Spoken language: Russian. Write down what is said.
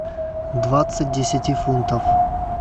двадцать десяти фунтов